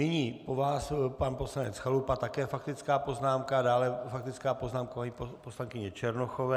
Nyní po vás pan poslanec Chalupa také faktická poznámka, dále faktická poznámka poslankyně Černochové.